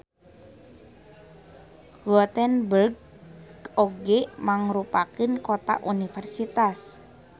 Gothenburg oge mangrupakeun kota universitas.